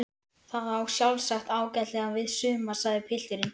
Það á sjálfsagt ágætlega við suma sagði pilturinn.